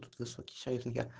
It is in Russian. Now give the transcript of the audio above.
высокий человек